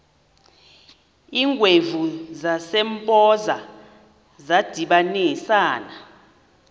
iingwevu zasempoza zadibanisana